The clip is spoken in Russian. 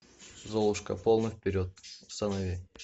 золушка полный вперед установи